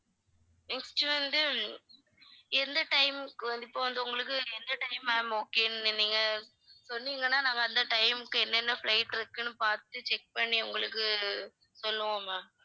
next வந்து எந்த time க்கு வந்து இப்ப வந்து உங்களுக்கு எந்த time ma'am okay ன்னு நீங்க சொன்னீங்கன்னா நாங்க அந்த time க்கு என்னென்ன flight இருக்குன்னு பார்த்து check பண்ணி உங்களுக்கு சொல்லுவோம் ma'am